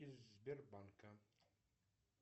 из сбербанка